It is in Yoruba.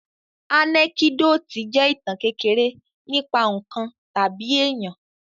Ànẹ́kídòtì jẹ́ ìtàn kékeré nípa ǹkan tàbí èyàn.